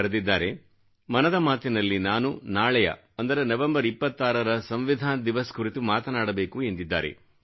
ನಲ್ಲಿ ಬರೆದಿದ್ದಾರೆ ಮನದ ಮಾತಿನಲ್ಲಿ ನಾನು ನಾಳೆಯ ಅಂದರೆ ನವಂಬರ್ 26ರ ಸಂವಿಧಾನ ದಿವಸ್ ಕುರಿತು ಮಾತನಾಡಬೇಕು ಎಂದಿದ್ದಾರೆ